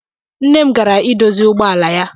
Nna m gara I dozi ụgbọala ya.